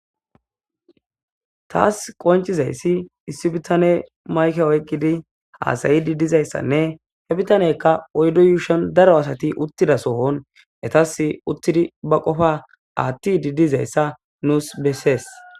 taas qoncizayssi issi bitane mayke oyqidi haasayidi dizayssanne he bitaneykka oyddo yuushon daro asati uttida sohon etas uttidi ba qofa aatti didizayssa nuus bessees